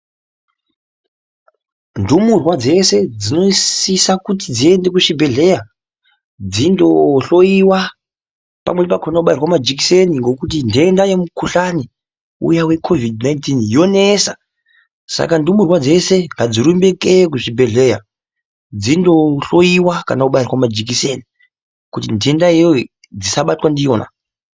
Ndumurwa dzese dzinosisa kuti dziende kuzvibhedhleya dzindohloyiwa pamweni pakhona kobairwa majikiseni ngokuti ntenda yemukuhlani uya weKhovhidhi 19 yonesa saka ndumurwa dzese ngadzirumbe kuende kuzvibhedhleya dzinohloyiwa kana kubairwa majikiseni kuti ntenda iyoyo dzisabatwa ndiyona.